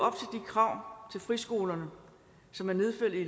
krav til friskolerne som er nedfældet i